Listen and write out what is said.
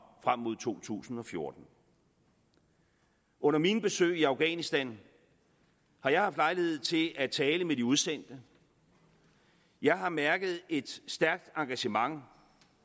frem mod to tusind og fjorten under mine besøg i afghanistan har jeg haft lejlighed til at tale med de udsendte jeg har mærket et stærkt engagement